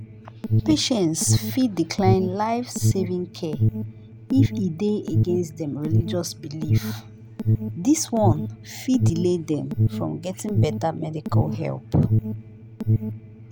patients fit decline life-saving care if e dey against dem religious belief dis one fit delay dem from getting better medical help